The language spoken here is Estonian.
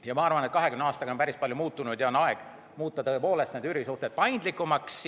Ja ma arvan, et 20 aastaga on päris palju muutunud ja on aeg üürisuhted paindlikumaks muuta.